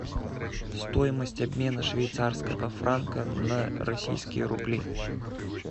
стоимость обмена швейцарского франка на российские рубли